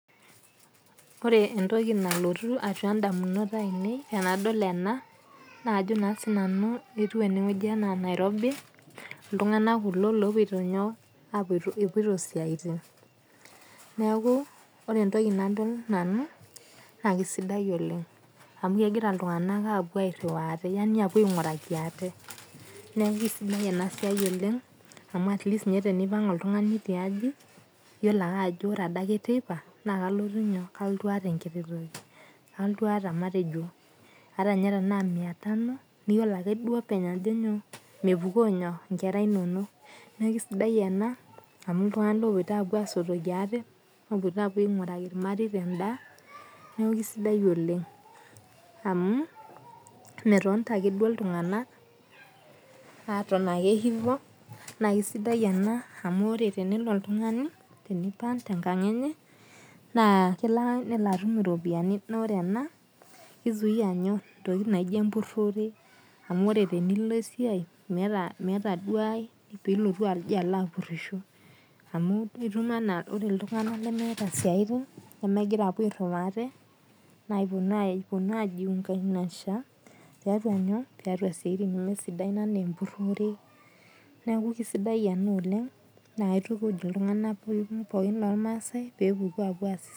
Ore entoki nalotu atua idamunot ainei tenadol enaa naa kajo sii nanu ketiu eneweji anaa Nairobi. Iltung'anak kuko lopoito inyoo? Epoito isiatin. Neeku ore entoki nadol nanu na kisidai oleng' amu epuo airiwa atee yaani apuo aing'uraki aate neeku isidai ena siai oleng' amu atleast tenipang' ninye oltung'ani tiaji yiolo ake ajo ore adake teipa naa kalotu inyoo? Kalotu ataa enkiti toki. Alotu aata matejo hata ninye tena mia tano niyiolo ake ninye openy, ajo nyoo? Mepuko inyoo? Inkera inonok. Neeku kisidai ena amu iltung'ana opoito apuo asotoki aate epoito apuo aing'uraki irmareta edaa neeku kisidai oleng' amu metonita ake duo iltung'ana aton ake hivo. Naa kisidai amu tenelo oltung'ani, tenipang' tee nkang' enye naa kelo nelo atum iropiani. Naa ore ena kei zuia inyoo? Intokitin naijo empurore amuu ore tenilo esiai meera duo ae pilotu aji apurishi amu itum enaa ore iltung'ana lemeta siatin nemegura apuo airiwa aate naa apunuo ai junganisha tiatua siatin nemesidain ene empurore neeku kisidai enaa oleng. Naa kaitukuj iltung'ana pookin ormasae pee epuku apuo aas isiatin.